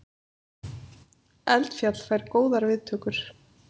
Eldfjall fær góðar viðtökur